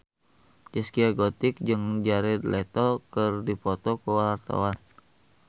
Zaskia Gotik jeung Jared Leto keur dipoto ku wartawan